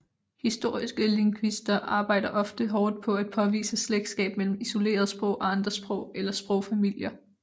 Historiske lingvister arbejder ofte hårdt på at påvise slægtskab mellem isolerede sprog og andre sprog eller sprogfamilier